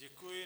Děkuji.